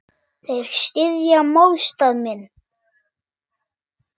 Þeir styðja málstað minn.